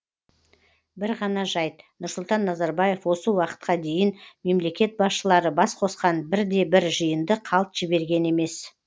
бір ғана жайт нұрсұлтан назарбаев осы уақытқа дейін мемлекет басшылары бас қосқан бірде бір жиынды қалт жіберген емес